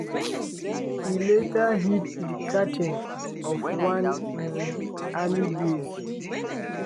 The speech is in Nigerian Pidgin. e later hit di canteen of one um army base.